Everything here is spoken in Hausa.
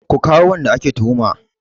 Ku kawo wanda ake tuhuma!